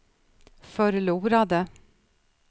förlorade